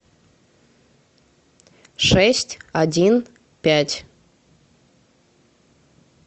шесть один пять